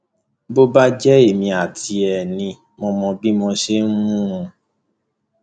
bó bá jẹ èmi àti ẹ ni mo mọ bí mo ṣe ń mú un